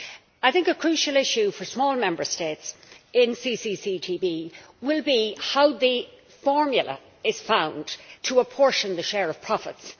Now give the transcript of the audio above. I think the crucial issue for small Member States in CCCTB will be how the formula is found to apportion the share of profits.